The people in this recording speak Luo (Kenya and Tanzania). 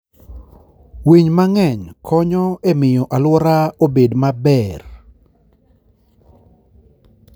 Winy mang'eny konyo e miyo alwora obed maber.